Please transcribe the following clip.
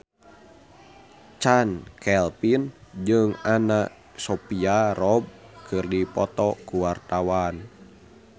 Chand Kelvin jeung Anna Sophia Robb keur dipoto ku wartawan